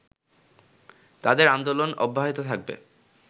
তাদের আন্দোলন অব্যাহত থাকবে